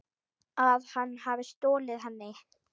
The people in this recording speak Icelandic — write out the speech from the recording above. Að hann hafi stolið henni?